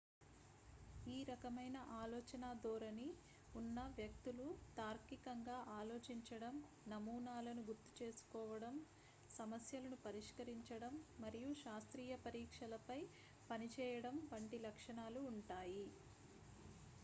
ఈ రకమైన ఆలోచనా ధోరణి ఉన్న వ్యక్తులు తార్కికంగా ఆలోచించడం నమూనాలను గుర్తుచేసుకోవడం సమస్యలను పరిష్కరించడం మరియు శాస్త్రీయ పరీక్షలపై పనిచేయడం వంటి లక్షణాలు ఉంటాయి